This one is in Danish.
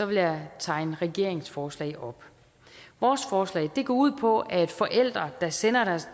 vil jeg tegne regeringens forslag op vores forslag går ud på at forældre der sender deres